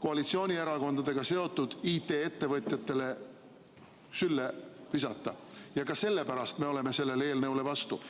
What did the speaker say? koalitsioonierakondadega seotud IT‑ettevõtjatele sülle visata ja ka sellepärast me oleme sellele eelnõule vastu.